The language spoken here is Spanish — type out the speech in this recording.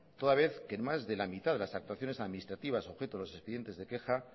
toda vez que más de la mitad de las actuaciones administrativas objeto de los expedientes de queja